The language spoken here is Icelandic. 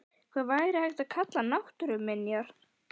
Hvað væri hægt að kalla náttúruminjar?